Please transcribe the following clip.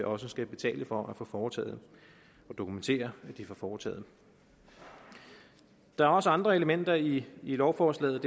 også skal betale for at få foretaget og dokumentere at de får foretaget der er også andre elementer i lovforslaget